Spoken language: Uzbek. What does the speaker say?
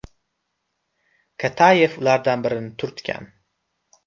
Katayev ulardan birini turtgan.